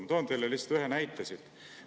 Ma toon teile lihtsalt ühe näite siit.